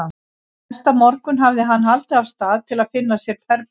Næsta morgun hafði hann haldið af stað til að finna sér herbergi.